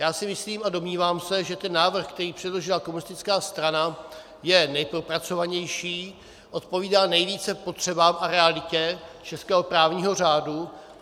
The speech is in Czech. Já si myslím a domnívám se, že ten návrh, který předložila komunistická strana, je nejpropracovanější, odpovídá nejvíce potřebám a realitě českého právního řádu.